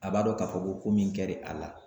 A b'a dɔn k'a fɔ ko ko min kɛ l'a la